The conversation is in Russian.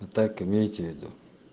и так имейте в виду